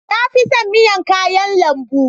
Na fi son miya kayan lambu